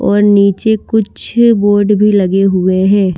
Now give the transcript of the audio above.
और नीचे कुछ बोर्ड भी लगे हुए हैं।